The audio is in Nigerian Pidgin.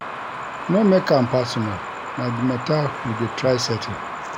No make am personal, na di mata we dey try settle.